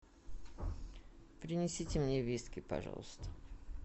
принесите мне виски пожалуйста